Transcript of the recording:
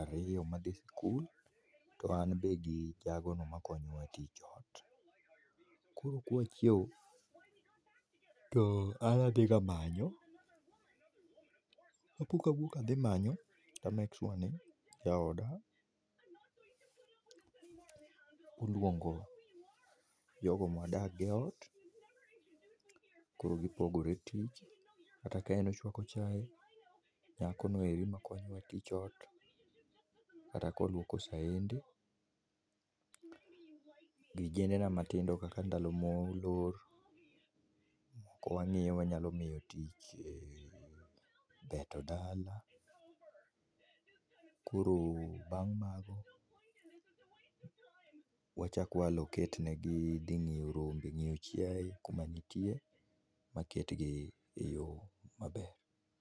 ariyo madhi skul to an be gi jago no makonyowa tich ot. koro kwachiew to an adhi ga manyo kapok awuok adhi manyo to a make sure ni jaoda oluongo jogo mwadak go e ot koro gipogore tich kata kaen ochwako chai, nyakono eri makonyowa tich ot kata ka oluoko saende, vijende na matindo gi kaka ndalo molor to ka wangiyo wanyalo miyo tich beto dala, koro bang’ mago wachak wa alocate negi dhi ng’iyo rombe, ng’iyo chiaye kuma nitie maket gi e yoo maber